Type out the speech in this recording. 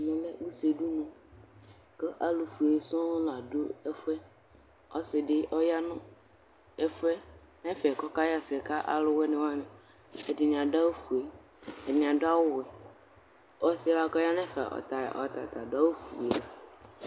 Ɛmɛlɛ ʋse dʋnʋ, kʋ alʋfue sɔŋ ladʋ ɛfʋ yɛ Ɔsidi ɔyanʋ ɛfʋ yɛ kʋ ɔkaxɛsɛ kʋ alʋwani Ɛdini adʋ awʋfue, ɛdini adʋ awʋwɛ Ɔsi yɛ bʋakʋ ɔyanʋ ɛfɛ ɔtata adʋ awʋfue